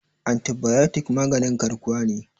antibayotik maganin garkuwa ne